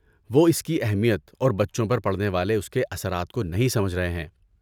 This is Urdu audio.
وہ اس کی اہمیت اور بچوں پر پڑنے والے اس کے اثرات کو نہیں سمجھ رہے ہیں۔